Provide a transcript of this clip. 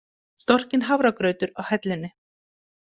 Storkinn hafragrautur á hellunni.